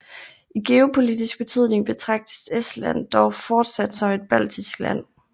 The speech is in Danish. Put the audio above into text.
I geopolitisk betydning betragtes Estland dog fortsat som et baltisk land